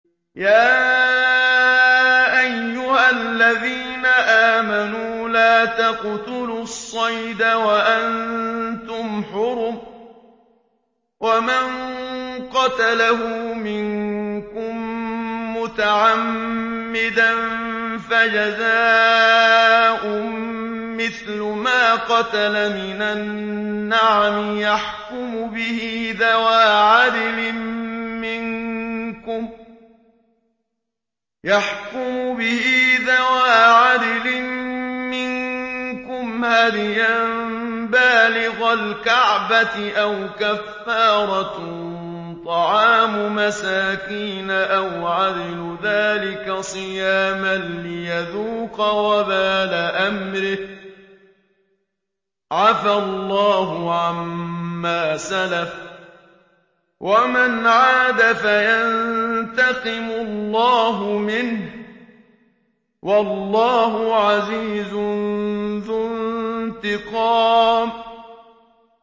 يَا أَيُّهَا الَّذِينَ آمَنُوا لَا تَقْتُلُوا الصَّيْدَ وَأَنتُمْ حُرُمٌ ۚ وَمَن قَتَلَهُ مِنكُم مُّتَعَمِّدًا فَجَزَاءٌ مِّثْلُ مَا قَتَلَ مِنَ النَّعَمِ يَحْكُمُ بِهِ ذَوَا عَدْلٍ مِّنكُمْ هَدْيًا بَالِغَ الْكَعْبَةِ أَوْ كَفَّارَةٌ طَعَامُ مَسَاكِينَ أَوْ عَدْلُ ذَٰلِكَ صِيَامًا لِّيَذُوقَ وَبَالَ أَمْرِهِ ۗ عَفَا اللَّهُ عَمَّا سَلَفَ ۚ وَمَنْ عَادَ فَيَنتَقِمُ اللَّهُ مِنْهُ ۗ وَاللَّهُ عَزِيزٌ ذُو انتِقَامٍ